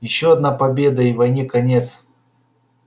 ещё одна победа и войне конец